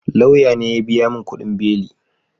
Lauya ne ya biya mun kudin beli